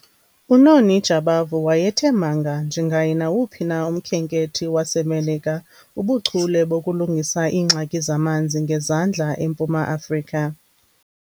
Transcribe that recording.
UNoni Jabavu wayethe manga njengaye nawuphi na umkhenkethi waseMelika bubuchule bokulungisa ingxaki zamanzi ngezandla eMpuma Afrika.